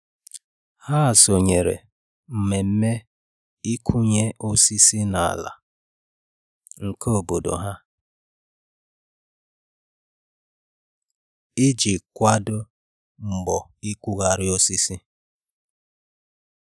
Ha sonyere mmemme ịkụnye osisi n'ala nke obodo, iji kwadoo mbọ ịkụgharị osisi.